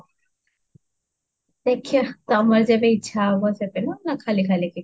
ଦେଖୁବ ତମର ଯେବେ ଇଚ୍ଛା ହବ ସେବେ ନା ଖାଲି ଖାଲି କି?